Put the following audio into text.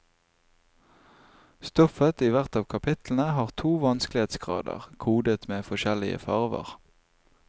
Stoffet i hvert av kapitlene har to vanskelighetsgrader, kodet med forskjellige farver.